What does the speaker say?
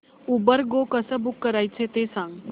Uber go कसं book करायचं ते सांग